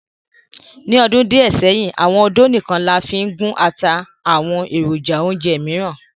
Ni ọdun diẹ sẹhin, awọn ódó nikan làfin gun àtà àti awọn erojà-ounjẹ miiran.